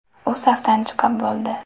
U safdan chiqib bo‘ldi.